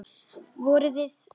Voruð þið.